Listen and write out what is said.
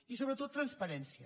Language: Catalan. i sobretot transparència